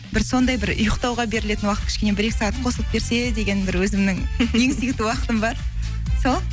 бір сондай бір ұйықтауға берілетін уақыт кішкене бір екі сағат қосылып берсе деген бір өзімнің ең сүйікті уақытым бар сол